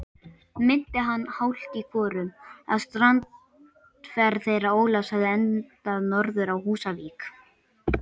Minnti hann hálft í hvoru, að strandferð þeirra Ólafs hefði endað norður á Húsavík.